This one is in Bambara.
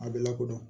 A bɛ lakodɔn